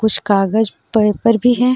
कुछ कागज़ पेपर भी हे.